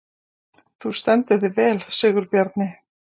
Þú stendur þig vel, Sigurbjarni!